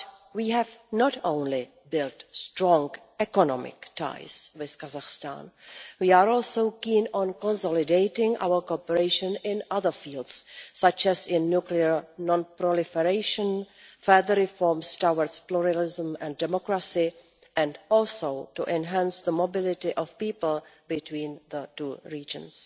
We have not only built strong economic ties with Kazakhstan, we are also keen on consolidating our cooperation in other fields such as in nuclear non-proliferation, further reforms towards pluralism and democracy, and also to enhance the mobility of people between the two regions.